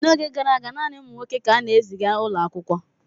N’oge gara aga, naanị ụmụ nwoke ka a na-eziga ụlọ akwụkwọ.